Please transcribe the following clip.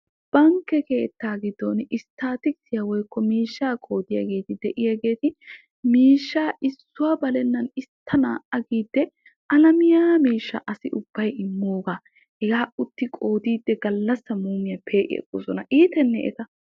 Bankke keettaa giddon estaatikkissiya woykko miishshaa qoodiyaageeti miishshaa issuwa balennan istta naa'a giidi alamiyaa miishshaa asai ubai imoogaa hegaa utti qoodiidi gallassa muumiya pee'i agoosona. iitenee eta.